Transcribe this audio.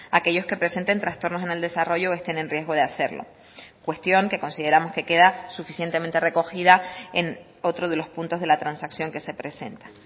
aquellos que presenten trastornos en el desarrollo o estén en riesgo de hacerlo cuestión que consideramos que queda suficientemente recogida en otro de los puntos de la transacción que se presenta